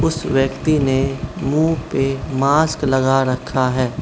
उस व्यक्ति ने मुंह पे मास्क लगा रखा है।